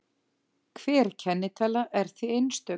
Hver kennitala er því einstök.